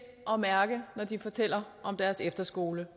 at mærke når de fortæller om deres efterskole